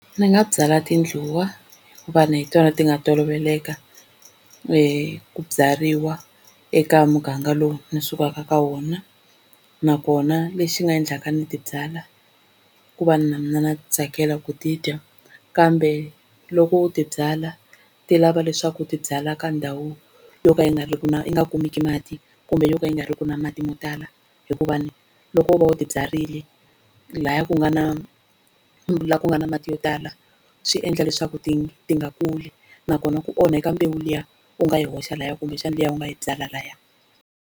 Ni nga byala tindluwa hikuva hi tona ti nga toloveleka ku byariwa eka muganga lowu ndzi sukaka ka wona, nakona lexi nga endlaka ni ti byala i ku va na mina na swi tsakela ku ti dya. Kambe loko u ti byala ti lava leswaku u ti byala ka ndhawu yo ka yi nga riki na yi nga kumeki mati kumbe yo ka yi nga riki na mati mo tala, hikuva loko u va u tibyarile laha ku nga na laha ku nga na mati yo tala swi endla leswaku ti ti nga kuli nakona ku onheka mbewu liya u nga yi hoxa layani kumbexana liya u nga yi byala layani.